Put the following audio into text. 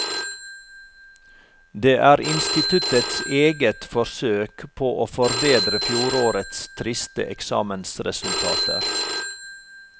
Det er instituttets eget forsøk på å forbedre fjorårets triste eksamensresultater.